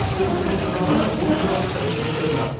термометр бағаны он градусқа дейін көтерілді